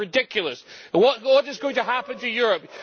This is ridiculous! What is going to happen to Europe?